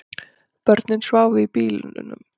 Börnin sváfu í bílnum